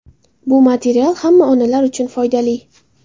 Bu material hamma onalar uchun foydali.